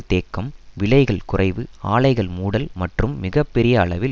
தேக்கம் விலைகள் குறைவு ஆலைகள் மூடல் மற்றும் மிக பெரிய அளவில்